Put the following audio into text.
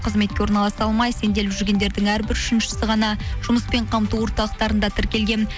қызметке орналаса алмай сенделіп жүргендердің әрбір үшіншісі ғана жұмыспен қамту орталықтарында тіркелген